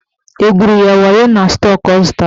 Egwuru ya wayo na stọk ọ zụtara?